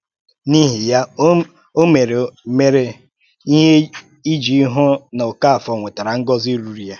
N’íhì ya, ó mèrè mèrè ìhè íjì hụ̀ na Okáfòr nwètàrà ngọ́zi rùrù ya.